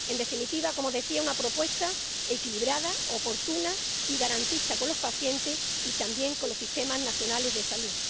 En definitiva, —como decía— una propuesta equilibrada, oportuna y garantista con los pacientes y también con los sistemas nacionales de salud.